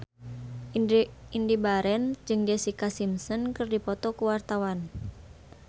Indy Barens jeung Jessica Simpson keur dipoto ku wartawan